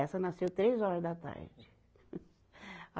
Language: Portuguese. Essa nasceu três horas da tarde.